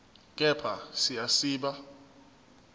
kepha siya siba